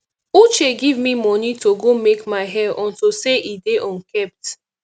uche give me money to go make my hair unto say e dey unkempt